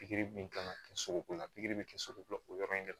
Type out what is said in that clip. Pikiri min kan ka kɛ sogo la pikiri bɛ kɛ sogobu yɔrɔ in de la